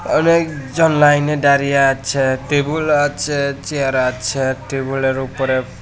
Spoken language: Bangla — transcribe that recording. অনেকজন লাইনে দাঁড়িয়ে আছে টেবিল আছে চেয়ার আছে টেবিলের উপরে--